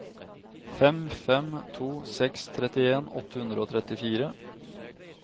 fem fem to seks trettien åtte hundre og trettifire